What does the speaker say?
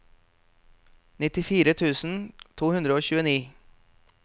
nittifire tusen to hundre og tjueni